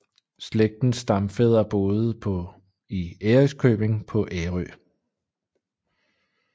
Slægtens stamfædre boede på i Ærøskøbing på Ærø